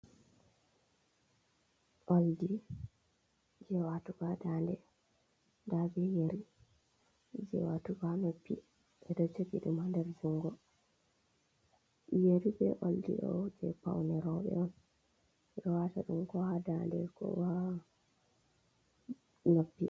Oldi je watugo danɗe, ɗabe yeri je watugo ha noppi ɓe do jogi dum ha jungo. Yeri ɓe oldi doh je paune roɓe on, ɓedo wata ɗum ko ha danɗe ko ha noppi.